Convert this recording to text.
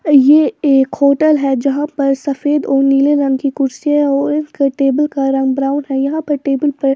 यह एक होटल है जहां पर सफेद और नीले रंग की कुर्सी है और इसके टेबल का रंग ब्राउन है यहां पर टेबल पर--